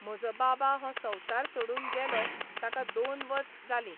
म्हजो बाबा हो संवसार सोडून गेलो ताका दोन वस जालीं.